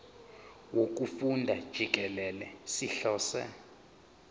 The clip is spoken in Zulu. wokufunda jikelele sihlose